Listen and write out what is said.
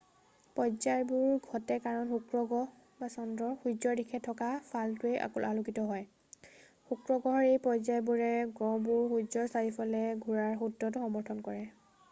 পৰ্যায়বোৰ ঘটে কাৰণ শুক্ৰ গ্ৰহ বা চন্দ্ৰৰ সূৰ্যৰ দিশে থকা ফালটোৱেই আলোকিত হয়। শুক্ৰ গ্ৰহৰ এই পৰ্যায়বোৰে গ্ৰহবোৰ সূৰ্যৰ চাৰিওকাষে ঘূৰাৰ সূত্ৰটো সমৰ্থন কৰে।